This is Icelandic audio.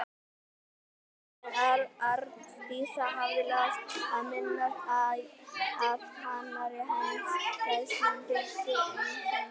En Arndísi hafði láðst að minnast á að annarri eins frelsun fylgdi einsemd.